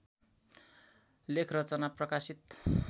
लेखरचना प्रकाशित